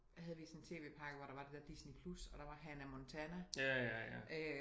Havde vi sådan en TV-pakke og hvor der var det dér Disney+ og der var Hannah Montana